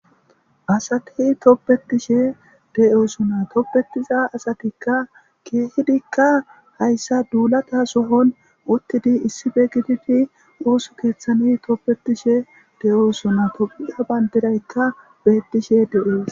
asati toppetishe de7osona toppetiza asatikka keehidikka hayssa duulata sohon uttidi issife gitifi oosu keeththani toppetishe de7oosona topiya banderaykka bettishe de7oos